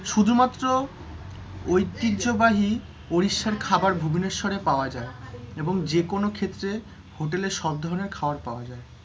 শুধুমাত্র ঐতিহ্য়বাহী উড়িষ্যার খাবার ভুবনেশ্বরে পাওয়া যায়, এবং যেকোনো ক্ষেত্রে হোটেলে সব ধরনের খাবার পাওয়া যায়,